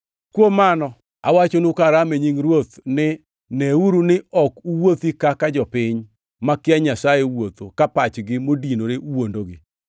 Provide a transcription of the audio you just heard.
Kuom mano, awachonu ka aramo kuom Ruoth, ni neuru ni ok uwuothi kaka jopiny makia Nyasaye wuotho ka pachgi modinore wuondogi.